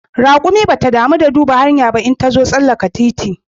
Raƙumi bata damu da duba hanya ba idan tazo tsallaka titi